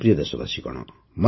ମୋର ପ୍ରିୟ ଦେଶବାସୀଗଣ